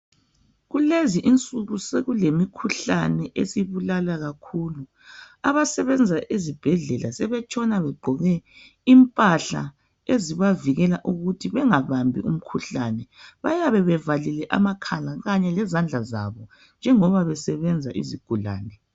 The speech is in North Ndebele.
Kulezi insuku sekulemikhuhlane esibulala kakhulu. Abasebenza ezibhedlela sebetshona begqoke impahla ezibavikela ukuthi bengabambi umkhuhlane. Bayabe bevalile amakhala kanye lezandla zabo njengoba besebenza izigulane.